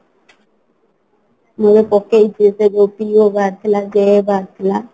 ମୁଁ ଏବେ ପକେଇଛି ସେ PO ବାହାରିଥିଲା JA ବାହାରିଥିଲା